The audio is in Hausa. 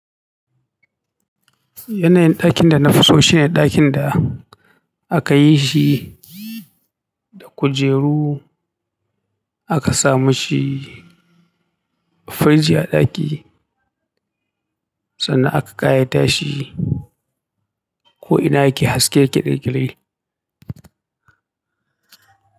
Yanayin ɗakin da na fi so shine ɗakin da aka yi shi da kujeru aka samu shi firiji a ɗaki sannan aka ƙayata shi ko ina yake haske yake kyalkyali.